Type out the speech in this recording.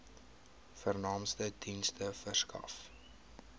vernaamste dienste verskaf